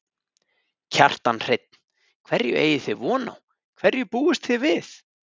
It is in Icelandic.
Kjartan Hreinn: Hverju eigi þið von á, hverju búist þið við?